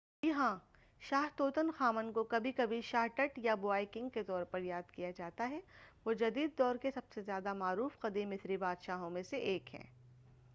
جی ہاں شاہ Tutankhamun کو کبھی کبھی شاہ ٹٹ یا بوائے کنگ کے طور پر یاد کیا جاتا ہے وہ جدید دور کے سب سے زیادہ معروف قدیم مصری بادشاہوں میں سے ایک ہیں